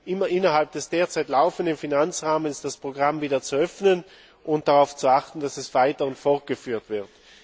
immer innerhalb des derzeit laufenden Finanzrahmens das Programm wieder zu öffnen und darauf zu achten, dass es weiter und fortgeführt wird.